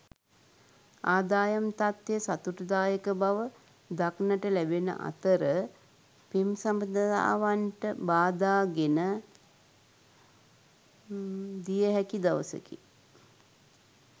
ආදායම් තත්ත්වය සතුටුදායක බව දක්නට ලැබෙන අතර පෙම් සබඳතාවන්ට බාධා ගෙන දිය හැකි දවසකි.